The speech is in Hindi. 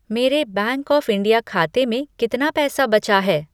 मेरे बैंक ऑफ़ इंडिया खाते में कितना पैसा बचा है?